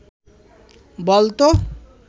বল তো